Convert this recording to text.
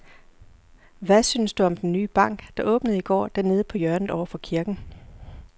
Hvad synes du om den nye bank, der åbnede i går dernede på hjørnet over for kirken?